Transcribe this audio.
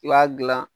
I b'a dilan